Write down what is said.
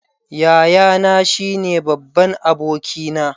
Yayana shine babban abokina.